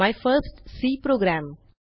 my first C programme